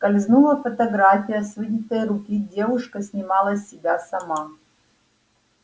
скользнула фотография с вынятой руки девушка снимала себя сама